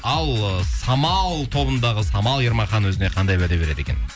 ал ы самал тобындағы самал ермахан өзіне қандай уәде береді екен